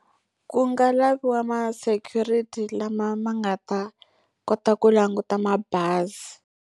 Ku nga laviwa ma security lama ma nga ta kota ku languta mabazi.